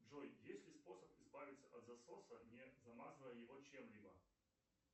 джой есть ли способ избавиться от засоса не замазывая его чем либо